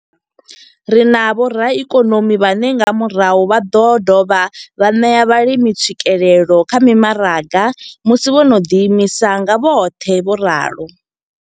Ri na vhoraikonomi vhane nga murahu vha ḓo dovha vha ṋea vhalimi tswikelelo kha mimaraga musi vho no ḓi imisa nga vhoṱhe, vho ralo.